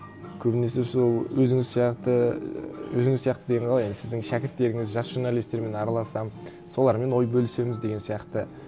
көбінесе сол өзіңіз сияқты өзіңіз сияқты деген қалай енді сіздің шәкірттеріңіз жас журналистермен араласамын солармен ой бөлісеміз деген сияқты